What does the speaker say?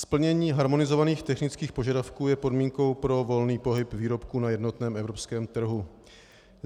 Splnění harmonizovaných technických požadavků je podmínkou pro volný pohyb výrobků na jednotném evropském trhu.